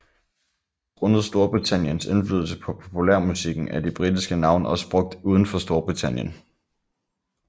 Grundet Storbritanniens indflydelse på populærmusikken er de britiske navne også brugt udenfor Storbritannien